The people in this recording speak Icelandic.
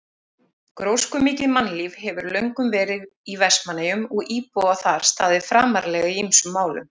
Gróskumikið mannlíf hefur löngum verið í Vestmannaeyjum og íbúar þar staðið framarlega í ýmsum málum.